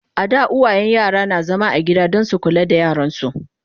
a da uwayen yara na zama a gida Dan su kula da yaransu